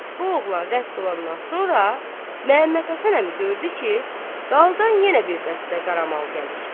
Bu oğlan rədd olandan sonra Məmmədhəsən əmi gördü ki, daldan yenə bir dəstə qaramal gəlir.